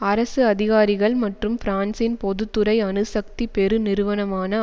அரசு அதிகாரிகள் மற்றும் பிரான்ஸின் பொது துறை அணுசக்தி பெருநிறுவனமான